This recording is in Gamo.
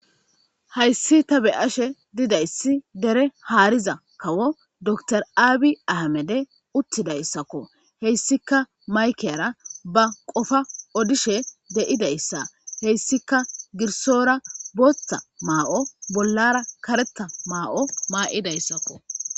Hays da be'ashe didaysi dere hariza kawo dokitere abiy ahimede utidaysako , heysika maykiyara ba Qopa odishe de'idaysa , haysika girsora bootha ma'o bollara karetha ma'o ma'daysako.